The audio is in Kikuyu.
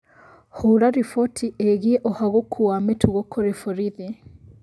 Hũra riboti ĩgiĩ ũhagũku wa mĩtugo kũrĩ borithi